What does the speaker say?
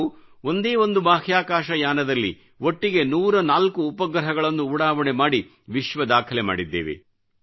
ನಾವು ಒಂದೇ ಒಂದು ಬಾಹ್ಯಾಕಾಶ ಯಾನದಲ್ಲಿ ಒಟ್ಟಿಗೆ 104ಉಪಗ್ರಹಗಳನ್ನು ಉಡಾವಣೆ ಮಾಡಿ ವಿಶ್ವ ದಾಖಲೆ ಮಾಡಿದ್ದೇವೆ